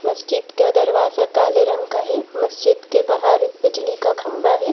मस्जिद का दरवाजा काले रंग का है मस्जिद के बाहर बिजली का खंभा है।